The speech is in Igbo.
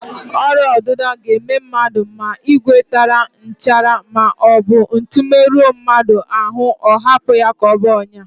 Ọrịaọdịdọ ga-eme mmadụ ma ìgwè tara nchara maọbụ ntu merụọ mmadụ ahụ, ọ hapụ ya ka ọ baa ọnyá